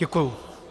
Děkuji.